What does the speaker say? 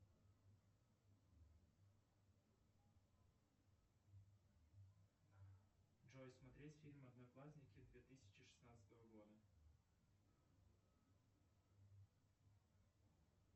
джой смотреть фильм одноклассники две тысячи шестнадцатого года